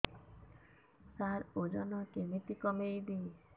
ସାର ଓଜନ କେମିତି କମେଇବି